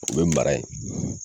O bɛ mara yen.